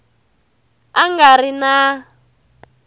a a nga ri na